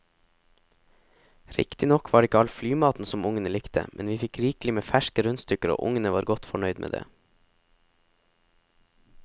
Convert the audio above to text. Riktignok var det ikke all flymaten som ungene likte, men vi fikk rikelig med ferske rundstykker og ungene var godt fornøyd med det.